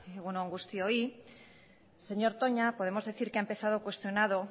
egun on guztioi señor toña podemos decir que ha empezado cuestionado